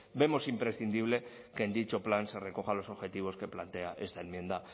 vemos imprescindible que en dicho plan se recojan los objetivos que plantea esta enmienda